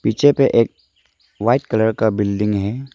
पीछे पे एक व्हाइट कलर का बिल्डिंग है।